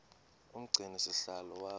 umgcini sihlalo waba